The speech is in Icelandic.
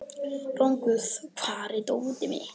Rongvuð, hvar er dótið mitt?